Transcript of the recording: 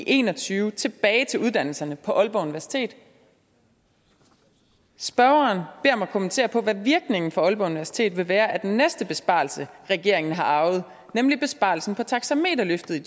en og tyve tilbage til uddannelserne på aalborg universitet spørgeren beder mig kommentere på hvad virkningen for aalborg universitet vil være af den næste besparelse regeringen har arvet nemlig besparelsen på taxameterløftet i